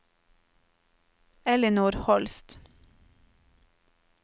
Ellinor Holst